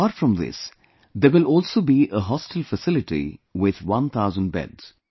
Apart from this, there will also be a hostel facility with one thousand beds